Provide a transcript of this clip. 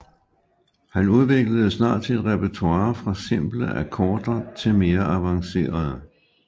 Han udviklede snart sit repertoire fra simple akkorder til mere avancerede